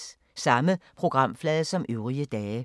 Samme programflade som øvrige dage